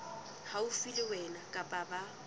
haufi le wena kapa ba